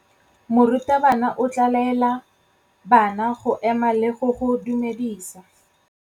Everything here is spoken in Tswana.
Morutabana o tla laela bana go ema le go go dumedisa.